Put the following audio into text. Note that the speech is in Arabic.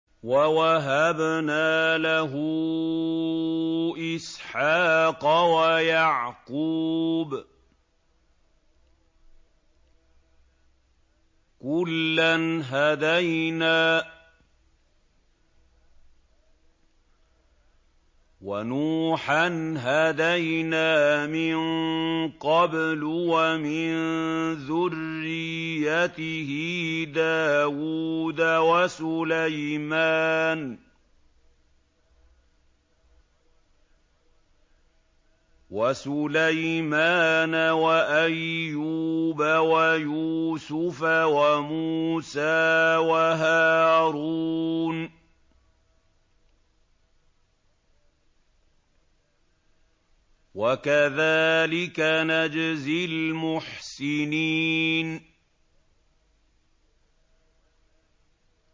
وَوَهَبْنَا لَهُ إِسْحَاقَ وَيَعْقُوبَ ۚ كُلًّا هَدَيْنَا ۚ وَنُوحًا هَدَيْنَا مِن قَبْلُ ۖ وَمِن ذُرِّيَّتِهِ دَاوُودَ وَسُلَيْمَانَ وَأَيُّوبَ وَيُوسُفَ وَمُوسَىٰ وَهَارُونَ ۚ وَكَذَٰلِكَ نَجْزِي الْمُحْسِنِينَ